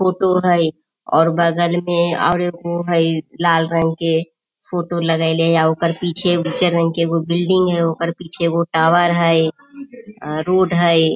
Photo हई और बगल में और एगो हई लाल रंग के फोटो लगइले आ ओकर पीछे उजर रंग के बिल्डिंग हई आ ओकर पीछे एगो टॉवर हई रोड हई।